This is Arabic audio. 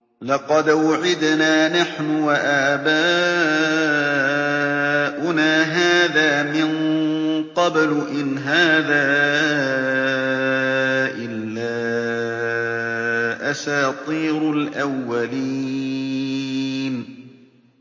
لَقَدْ وُعِدْنَا نَحْنُ وَآبَاؤُنَا هَٰذَا مِن قَبْلُ إِنْ هَٰذَا إِلَّا أَسَاطِيرُ الْأَوَّلِينَ